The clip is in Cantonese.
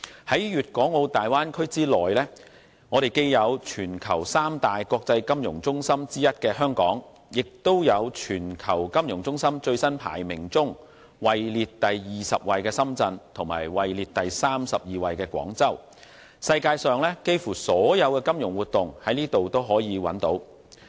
在粵港澳大灣區內，既有全球三大國際金融中心之一的香港，也有在全球金融中心最新排名中位列第二十位的深圳和位列第三十二位的廣州，世界上幾乎所有的金融活動也可在這裏找到。